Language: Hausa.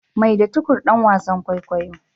Maida Tukur dan wasan kwaikwayo.